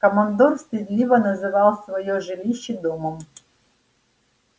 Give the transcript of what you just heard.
командор стыдливо называл своё жилище домом